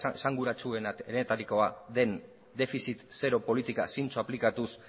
esanguratsuenetarikoa den defizit zero politika zintzo aplikatuz